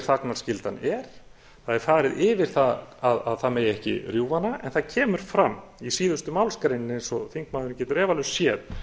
þagnarskyldan er það er farið yfir það að það megi ekki rjúfa hana en það kemur fram í síðustu málsgreininni eins og þingmaðurinn getur efalaust séð